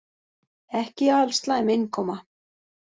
Ekki alslæm innkoma.